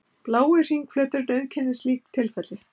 Blái hringflöturinn auðkennir slíkt tilfelli.